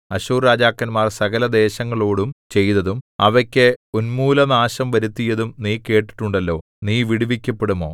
അശ്ശൂർരാജാക്കന്മാർ സകലദേശങ്ങളോടും ചെയ്തതും അവയ്ക്ക് ഉന്മൂലനാശം വരുത്തിയതും നീ കേട്ടിട്ടുണ്ടല്ലോ നീ വിടുവിക്കപ്പെടുമോ